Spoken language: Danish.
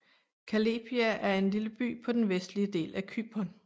Kallepia er en lille by på den vestlige del af Cypern